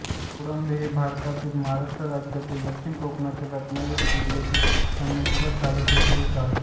कोळंबे हे भारतातील महाराष्ट्र राज्यातील दक्षिण कोकणातील रत्नागिरी जिल्ह्यातील संगमेश्वर तालुक्यातील एक गाव आहे